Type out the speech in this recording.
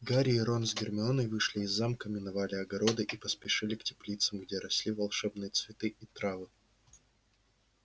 гарри и рон с гермионой вышли из замка миновали огороды и поспешили к теплицам где росли волшебные цветы и травы